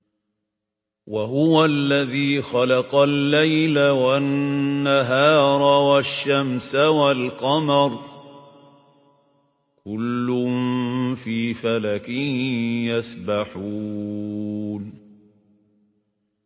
وَهُوَ الَّذِي خَلَقَ اللَّيْلَ وَالنَّهَارَ وَالشَّمْسَ وَالْقَمَرَ ۖ كُلٌّ فِي فَلَكٍ يَسْبَحُونَ